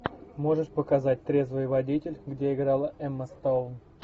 можешь показать трезвый водитель где играла эмма стоун